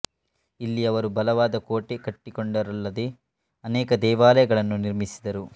ಇಲ್ಲಿ ಅವರು ಬಲವಾದ ಕೋಟೆ ಕಟ್ಟಿಕೊಂಡರಲ್ಲದೆ ಅನೇಕ ದೇವಾಲಯಗಳನ್ನೂ ನಿರ್ಮಿಸಿದರು